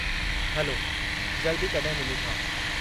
हलो जल्दु ई कॾहिं मिलूं था।